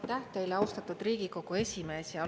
Aitäh teile, austatud Riigikogu esimees!